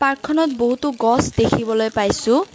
পাৰ্কখনত বহুতো গছ দেখিবলৈ পাইছোঁ।